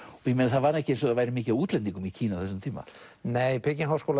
það var ekki eins og það væri mikið af útlendingum í Kína á þessum tíma nei í